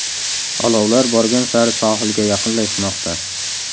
Olovlar borgan sari sohilga yaqinlashmoqda.